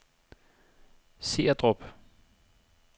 Seerdrup